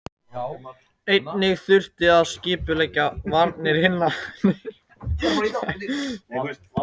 Einnig þurfti að skipuleggja varnir hinna nýfengnu landa gegn ágangi annarra Evrópuríkja.